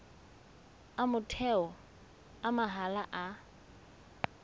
a motheo a mahala a